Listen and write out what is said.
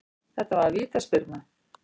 Þetta var vítaspyrna